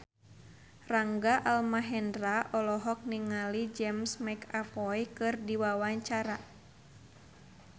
Rangga Almahendra olohok ningali James McAvoy keur diwawancara